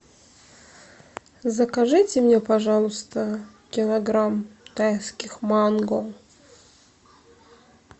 закажите мне пожалуйста килограмм тайских манго